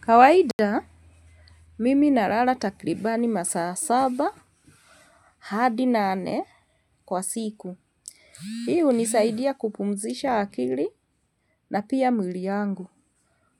Kawaida, mimi na lala takribani masaa saba, hadi nane, kwa siku. Hii hunisaidia kupumzisha akili na pia mwili yangu.